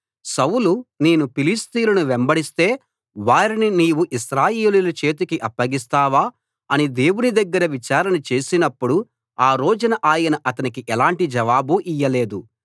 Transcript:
సౌలు నేను ఫిలిష్తీయులను వెంబడిస్తే వారిని నీవు ఇశ్రాయేలీయుల చేతికి అప్పగిస్తావా అని దేవుని దగ్గర విచారణ చేసినప్పుడు ఆ రోజున ఆయన అతనికి ఎలాంటి జవాబు ఇయ్యలేదు